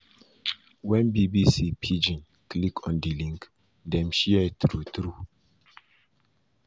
wen bbc pidgin click on di link dem share true-true e